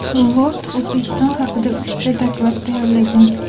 Lord O‘zbekiston haqida uchta doklad tayyorlagan.